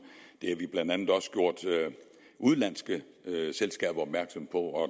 det har vi blandt andet også gjort udenlandske selskaber opmærksom på og